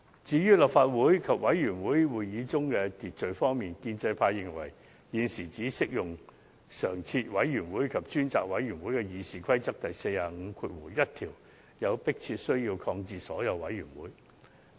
就立法會及委員會會議中的秩序方面而言，建制派認為，有迫切需把《議事規則》第451條的適用範圍，由常設委員會及專責委員會擴大至涵蓋所有委員會。